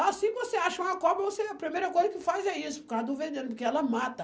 Assim que você acha uma cobra, você, a primeira coisa que faz é isso, por causa do veneno, porque ela mata.